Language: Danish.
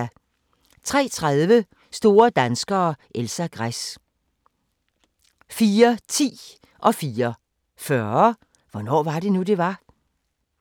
03:30: Store danskere - Elsa Gress 04:10: Hvornår var det nu, det var? 04:40: Hvornår var det nu, det var?